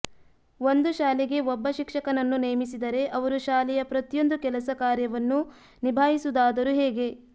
ಒಂದು ಶಾಲೆಗೆ ಒಬ್ಬ ಶಿಕ್ಷಕನ್ನು ನೇಮಿಸಿದರೆ ಅವರು ಶಾಲೆಯ ಪ್ರತಿಯೊಂದು ಕೆಲಸ ಕಾರ್ಯವನ್ನು ನಿಭಾಯಿಸುವುದಾದರೂ ಹೇಗೆ